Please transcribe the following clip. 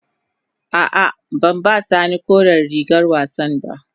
A'a, ban ba sani koren rigar wassan ba.